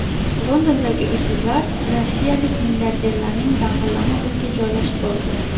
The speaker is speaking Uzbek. Londondagi uysizlar rossiyalik milliarderning dang‘illama uyiga joylashib oldi.